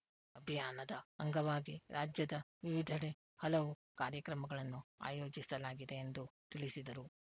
ಅಭಿಯಾನದ ಅಂಗವಾಗಿ ರಾಜ್ಯದ ವಿವಿಧೆಡೆ ಹಲವು ಕಾರ್ಯಕ್ರಮಗಳನ್ನು ಆಯೋಜಿಸಲಾಗಿದೆ ಎಂದು ತಿಳಿಸಿದರು